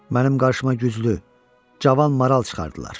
Mənim qarşıma güclü, cavan maral çıxardılar.